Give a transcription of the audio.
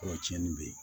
Kɔrɔcɛnin bɛ yen